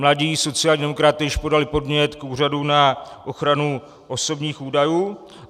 Mladí sociální demokraté již podali podnět k Úřadu na ochranu osobních údajů.